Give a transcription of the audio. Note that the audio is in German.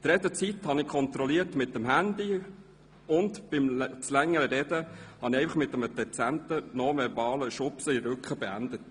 Die Redezeit kontrollierte ich mittels Handy, und bei zu langem Reden, hätte ich dieses mit einem dezenten nonverbalen Schubsen in den Rücken beendet.